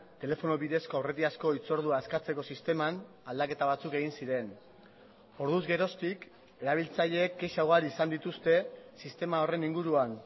telefono bidezko aurretiazko hitzordua eskatzeko sisteman aldaketa batzuk egin ziren orduz geroztik erabiltzaileek kexa ugari izan dituzte sistema horren inguruan